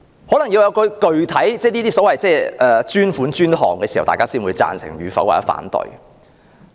可能要有具體的所謂"專款專項"時，大家才會表示贊成或反對。